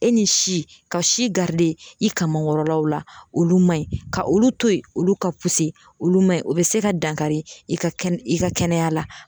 E ni si ka si garide i kaman kɔrɔlaw la olu ma ɲi ka olu to yen olu ka puse olu man ɲi o be se ka dankari i ka kɛnɛ i ka kɛnɛya la